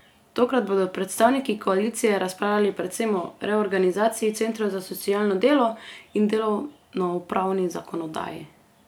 Tokrat bodo predstavniki koalicije razpravljali predvsem o reorganizaciji centrov za socialno delo in delovnopravni zakonodaji.